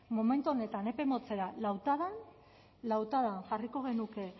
momentu honetan epe motzera lautadan lautadan jarriko genuke